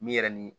Min yɛrɛ ni